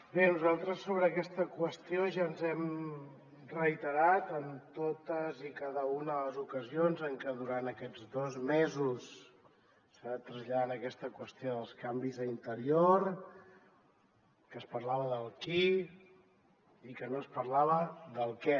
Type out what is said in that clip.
bé nosaltres sobre aquesta qüestió ja ens hem reiterat en totes i cadascuna de les ocasions en que durant aquests dos mesos s’ha anat traslladant aquesta qüestió dels canvis a interior que es parlava del qui i que no es parlava del què